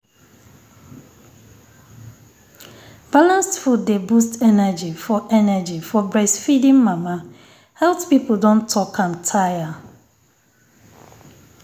balanced food dey boost energy for energy for breastfeeding mama. health people don talk am tire um